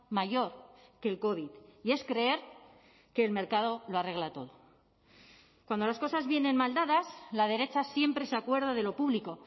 mayor que el covid y es creer que el mercado lo arregla todo cuando las cosas vienen mal dadas la derecha siempre se acuerda de lo público